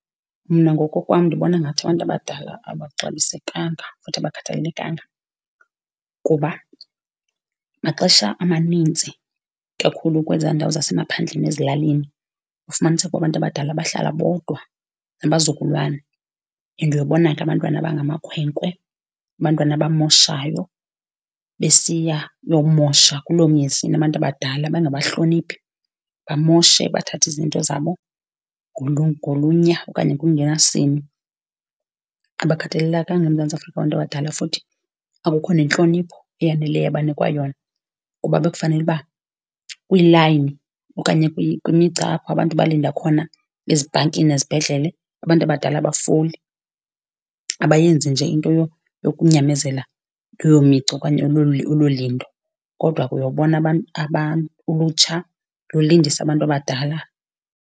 Mna ngokokwam ndibona ngathi abantu abadala abaxabisekanga, futhi abakhathalelekanga kuba maxesha amaninzi kakhulu kwezaa ndawo zasemaphandleni ezilalini, kufumaniseke uba abantu abadala bahlala bodwa nabazukulwana. And uyobona ke abantwana abangamakhwenkwe, abantwana abamoshayo, besiya uyomosha kuloo mizi inabantu abadala bangabahloniphi, bamoshe bathathe izinto zabo ngolunya, okanye ngokungenalusini. Abakhathalelekanga eMzantsi Afrika abantu abadala futhi akukho nentlonipho eyaneleyo abanikwa yona, kuba bekufanele uba kwiilayini okanye kwimigca apho abantu balinda khona, ezibhankini nezibhedlele, abantu abadala abafoli, abayenzi nje into yokunyamezela leyo migca okanye olo lindo. Kodwa ke uyobona ulutsha lulindisa abantu abadala.